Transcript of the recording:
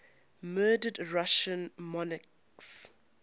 murdered russian monarchs